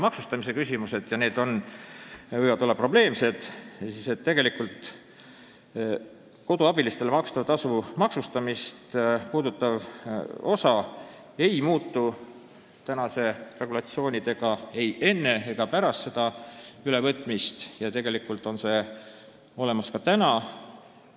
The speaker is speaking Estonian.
Ministeeriumi esindaja Ruth Annus märkis, et lapsehoidjatele-koduabilistele makstava tasu maksustamist puudutav osa ei muutu pärast seda ülevõtmist, tegelikult on see regulatsioon ka praegu olemas.